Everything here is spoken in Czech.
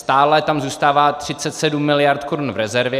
Stále tam zůstává 37 mld. korun v rezervě.